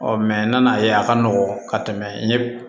Ɔ nana ye a ka nɔgɔn ka tɛmɛ n ye